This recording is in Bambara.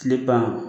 Tile ban